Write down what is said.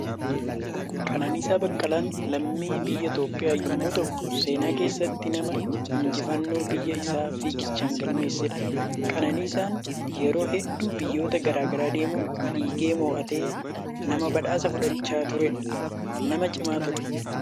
Qananiisaa Baqqalaan lammii biyya Itoophiyaa yommuu ta'u, seenaa keessatti nama injifannoo biyya isaa fiiggichaan galmeessedha. Qananiisaan yeroo hedduu biyyoota garaa garaa deemuun fiigee moo'atee nama badhaasa fudhachaa turedha. Nama cimaa ture!